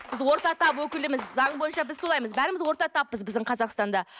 біз орта тап өкіліміз заң бойынша біз солаймыз бәріміз орта таппыз біздің қазақстанда